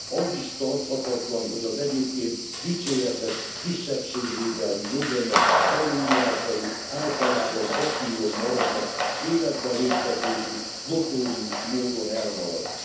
Az is tarthatatlan, hogy az egyébként dicséretes kisebbségvédelmi joganyag előírásai általában papíron maradnak, életbe léptetésük notórius módon elmarad.